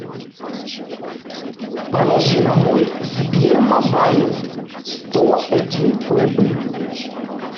положи на мой сбермобайл сто один рубль